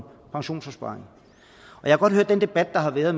pensionsopsparing jeg har godt hørt den debat der har været